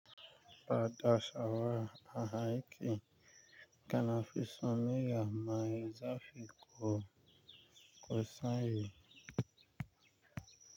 Bada shawara a aiki, kana fisun miya mai zafi ko ko sanyi.